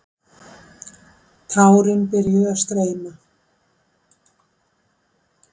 Tárin byrjuðu að streyma.